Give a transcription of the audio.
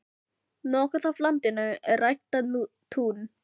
Nokkuð af landinu er ræktað tún.